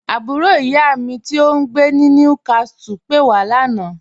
Àbúrò iyá mi tí ò ǹgbé ní Newcastle pé wà lána.